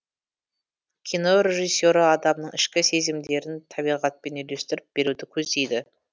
кино режиссері адамның ішкі сезімдерін табиғатпен үйлестіріп беруді көздейді